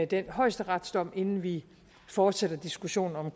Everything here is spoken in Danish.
den højesteretsdom inden vi fortsætter diskussionen om